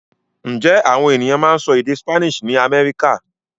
Ǹjẹ́ àwọn ènìyàn máa ń sọ èdè Spanish ní Amẹ́ríkà?